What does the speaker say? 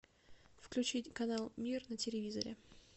включить канал мир на телевизоре